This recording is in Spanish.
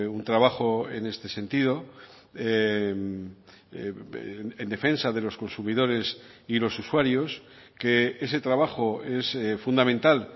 un trabajo en este sentido en defensa de los consumidores y los usuarios que ese trabajo es fundamental